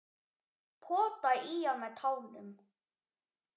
Potaði í hann með tánum.